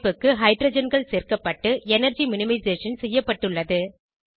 அமைப்புக்கு ஹைட்ரஜன்கள் சேர்க்கப்பட்டு எனர்ஜி மினிமைசேஷன் செய்யப்பட்டுள்ளது